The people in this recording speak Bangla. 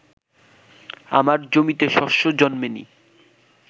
আমার জমিতে শস্য জন্মে নি